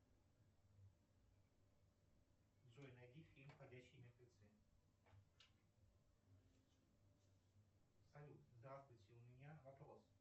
джой найди фильм ходячие мертвецы салют здравствуйте у меня вопрос